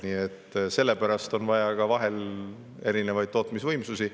Nii et sellepärast on vaja vahel erinevaid tootmisvõimsusi.